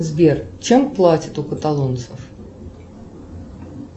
сбер чем платят у каталонцев